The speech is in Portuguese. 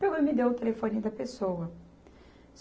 Pegou e me deu o telefone da pessoa.